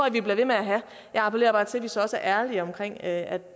at vi bliver ved med at have jeg appellerer bare til at vi så også er ærlige omkring at